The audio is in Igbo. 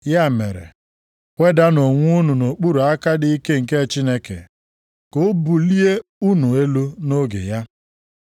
Ya mere, wedanụ onwe unu nʼokpuru aka dị ike nke Chineke, ka o bulie unu elu nʼoge ya.